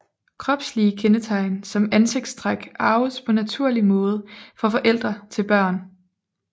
Kropslige kendetegn som ansigtstræk arves på naturlig måde fra forældre til børn